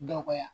Dɔgɔya